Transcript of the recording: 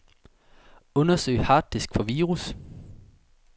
Undersøg harddisk for virus.